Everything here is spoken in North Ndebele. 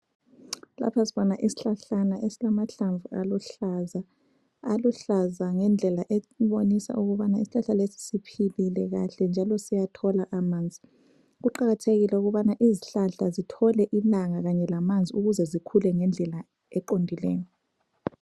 Lapha sibona ishlahlana esilamahlamvu aluhlaza. Aluhlaza ngendlela esibonisa ukubana isihlahla lesi siphilile kahle njalo siyathola amanzi. Kuqakathekile ukubana izihlahla zithole ilanga kanye lamanzi ukuze zikhule ngendlela eqondileyo.